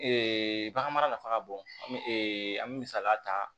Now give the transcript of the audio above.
bagan mara nafa ka bon an bɛ misaliya ta